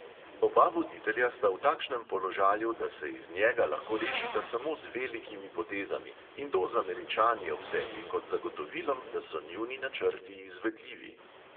Oba voditelja sta v takšnem položaju, da se iz njega lahko rešita samo z velikimi potezami, in to z američani ob sebi kot zagotovilom, da so njuni načrti izvedljivi.